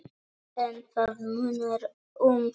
En það munar um þetta.